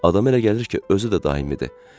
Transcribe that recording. Adam elə gəlir ki, özü də daimidir.